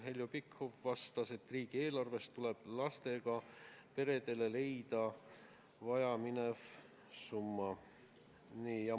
Heljo Pikhof vastas, et riigieelarvest tuleb leida lastega peredele vaja minev summa.